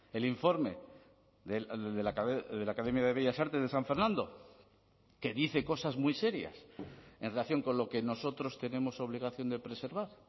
el informe de la academia de bellas artes de san fernando que dice cosas muy serias en relación con lo que nosotros tenemos obligación de preservar